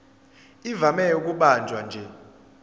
ivame ukubanjwa nje